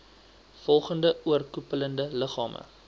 volgende oorkoepelende liggame